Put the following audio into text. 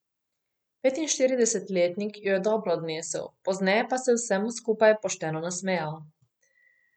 Petinštiridesetletnik jo je dobro odnesel, pozneje pa se je vsemu skupaj pošteno nasmejal.